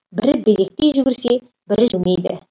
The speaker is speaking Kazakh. бірі безектей жүгірсе бірі жүрмейді